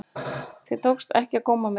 Þér tókst ekki að góma mig.